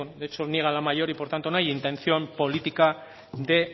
de hecho niega la mayor y por tanto no hay intención política de